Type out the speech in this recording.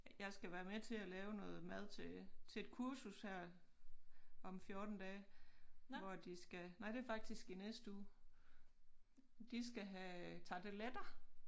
Jeg skal være med til at lave noget mad til til et kursus her om 14 dage hvor at de skal nej det faktisk i næste uge de skal have tarteletter